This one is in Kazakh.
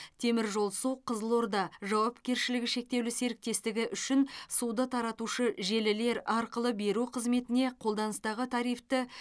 теміржолсу қызыл орда жауапкершілігі шектеулі серіктестігі үшін суды таратушы желілер арқылы беру қызметіне қолданыстағы тарифті